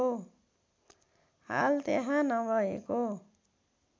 हाल त्यहाँ नभएको